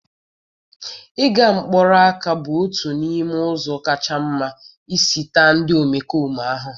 Nga mkpụrụ ọka bụ otu n'ime ụzọ kacha mma isi taa ndị omekome ahụhụ